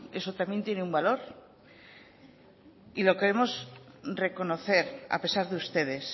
eso también tiene un valor y lo queremos reconocer a pesar de ustedes